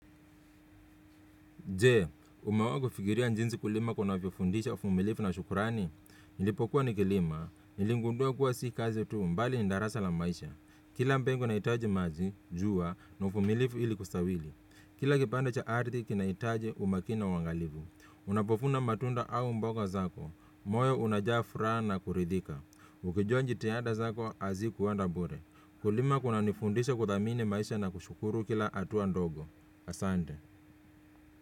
Jee, umewahi kufikiria jinsi kulima kunavyofundisha uvumilivu na shukurani? Nilipokuwa nikilima, niligundua kuwa si kazi tu mbali ni darasa la maisha. Kila mbegu inaitaji maji, jua, na uvumilivu ili kustawili. Kila kipanda cha arthi, kinaitaji umakini na uangalivu. Unapovuna matunda au mboga zako, moyo unajaa furaha na kuridhika. Ukijua jitihada zako, hazikuenda bure. Kulima kunanifundisha kuthamini maisha na kushukuru kila hatua ndogo. Asante.